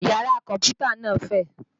Yàrá kọ̀mpútà náà fẹ̀